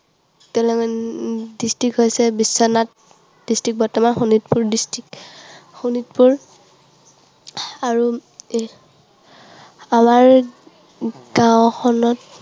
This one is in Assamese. District হৈছে বিশ্বনাথ, district বৰ্তমান শোণিতপুৰ district, শোণিতপুৰ আৰু আমাৰ গাঁওখনত